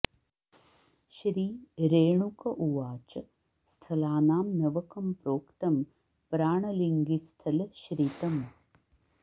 श्री रेणुक उवाच स्थलानां नवकं प्रोक्तं प्राणलिङ्गिस्थल श्रितं